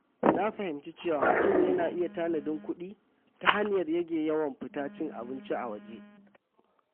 Na fahimci cewa mutum yana iya tanadin kuɗi ta hanyar rage yawan fita cin abinci a waje.